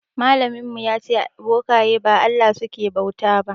Malamin ya ce bokaye ba Allah suke bauta ba.